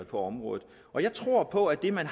på området jeg tror på at det man